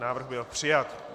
Návrh byl přijat.